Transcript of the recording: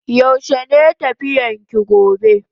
Yaushe ne tafiyan ki gobe?